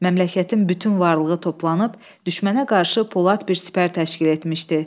Məmləkətin bütün varlığı toplanıb düşmənə qarşı Polad bir sipər təşkil etmişdi.